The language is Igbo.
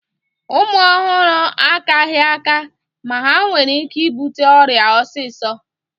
Ụmụ ọhụrụ akaghị aka ma ha nwere ike ibute ọrịa osisọ